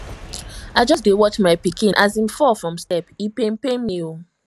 i just dey watch my pikin as im fall from step e pain pain me o